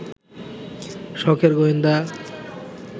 সখের গোয়েন্দা